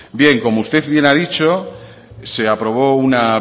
bien como usted bien ha dicho se aprobó una